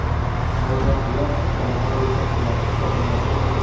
Aynan ular jamoa yetakchilari hisoblanadi.